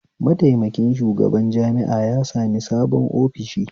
Mataimakin shugaban jami'a ya sami sabon ofishi